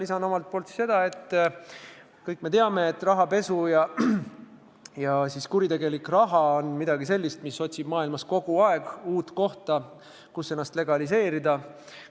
Lisan omalt poolt seda, et kõik me teame, et rahapesu ja üldse kuritegelik raha on midagi sellist, mis otsib maailmas kogu aeg uut kohta, kus ennast legaliseerida.